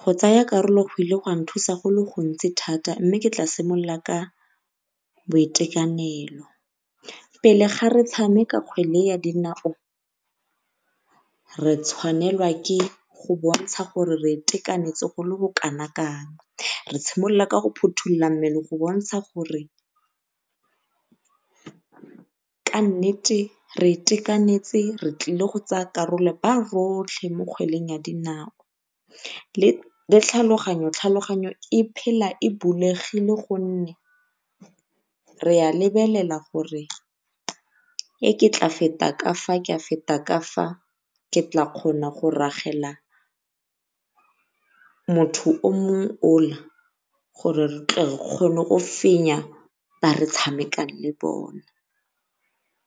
Go tsaya karolo go ile gwa nthusa go le gontsi thata mme ke tla simolola ka boitekanelo. Pele ga re tshameka kgwele ya dinao, re tshwanelwa ke go bontsha gore re itekanetse go le bo kana kang. Re tshimolola ka go phutholola mmele go bontsha gore ka nnete re itekanetse re tlile go tsaya karolo ba rotlhe mo kgweleng ya dinao. Le le tlhaloganyo, tlhaloganyo e phela e bulegile gonne re a lebelela gore ke tla feta ka fa, ke a feta kafa ke tla kgona go ragela motho o mongwe ola gore re tle re kgone go fenya ba re tshamekang le bona